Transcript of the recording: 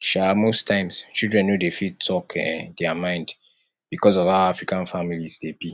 um most times children no dey fit talk um their mind because of how african families dey be